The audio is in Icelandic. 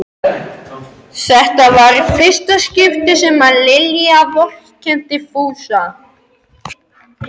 Þetta var í fyrsta sinn sem Lilla vorkenndi Fúsa.